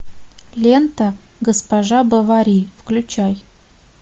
лента госпожа бовари включай